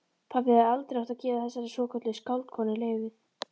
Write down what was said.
Pabbi hefði aldrei átt að gefa þessari svokölluðu skáldkonu leyfið.